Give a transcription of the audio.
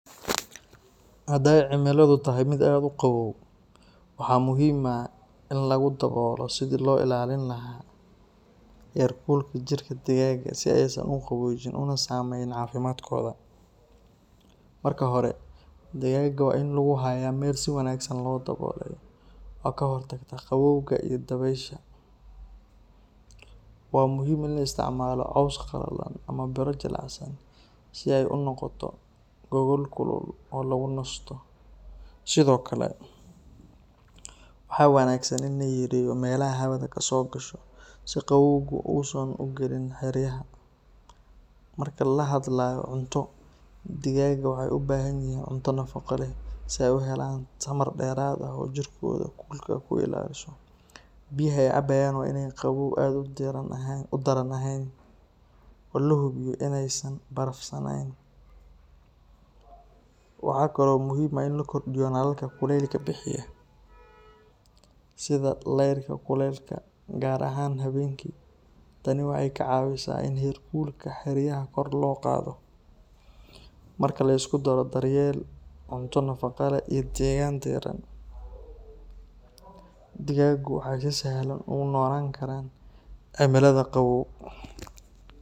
Hadday cimiladu tahay mid aad u qaboow, waxaa muhiim ah in lagu dadaalo sidii loo ilaalin lahaa heer kulka jirka digaagga si aysan u qaboojin una saameyn caafimaadkooda. Marka hore, digaagga waa in lagu hayaa meel si wanaagsan loo daboolay, oo ka hortagta qabowga iyo dabaysha. Waa muhiim in la isticmaalo caws qalalan, ama biro jilicsan, si ay u noqoto gogol kulul oo lagu nasto. Sidoo kale, waxaa wanaagsan in la yareeyo meelaha hawada ka soo gasho si qabowgu uusan u galin xeryaha. Marka la hadlayo cunto, digaagga waxay u baahan yihiin cunto nafaqo leh si ay u helaan tamar dheeraad ah oo jirkooda kulka ku ilaaliso. Biyaha ay cabayaan waa in aanay qabow aad u daran ahayn, oo la hubiyo in aysan barafsanayn. Waxaa kale oo muhiim ah in la kordhiyo nalalka kuleylka bixiya, sida laydhka kuleylka, gaar ahaan habeenkii. Tani waxay ka caawisaa in heer kulka xeryaha kor loo qaado. Marka la isku daro daryeel, cunto nafaqo leh iyo degaan diiran, digaaggu waxay si sahlan ugu noolaan karaan cimilada qabow.